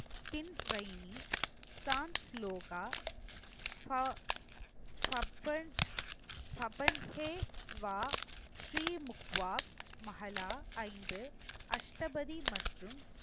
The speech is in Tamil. ஐந்து அஷ்டபதி மற்றும்